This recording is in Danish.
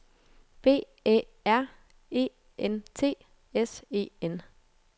B Æ R E N T S E N